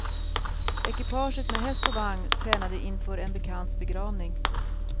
Ekipaget med häst och vagn tränade inför en bekants begravning.